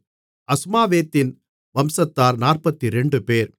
அஸ்மாவேத்தின் வம்சத்தார் 42 பேர்